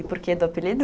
E por que do apelido?